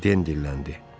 Deyə Den dilləndi.